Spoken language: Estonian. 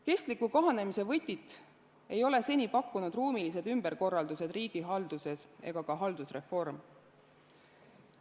Kestliku kahanemise võtit ei ole seni pakkunud ruumilised ümberkorraldused riigihalduses ega ka haldusreform.